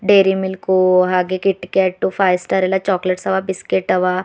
Dairy milk ಹಾಗೆ KitKat five star ಎಲ್ಲಾ chocolates ಅವ ಬಿಸ್ಕೆಟ್ ಅವ.